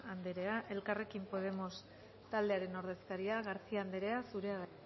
anderea elkarrekin podemos taldearen ordezkaria garcía anderea zurea da